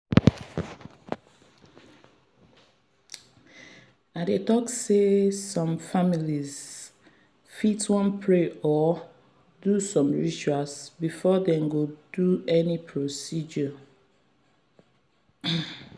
i dey talk say some families fit wan pray or do some rituals before dem go do any procedure.